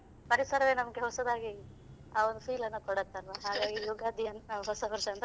ಪರಿಸರವೇ ನಮಗೆ ಹೊಸದಾಗಿ ಆ ಒಂದು feel ಅನ್ನು ಕೊಡುತ್ತಲ್ವಾ ಹಾಗಾಗಿ ಯುಗಾದಿ ಅಂತ ಹೊಸವರ್ಷ ಅಂತ.